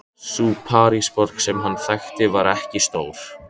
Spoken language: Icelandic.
Sú Parísarborg sem hann þekkti var ekki stór.